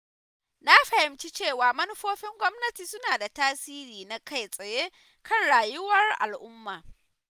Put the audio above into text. Na fahimci cewa manufofin gwamnati suna da tasiri na kai-tsaye kan rayuwar al’umma.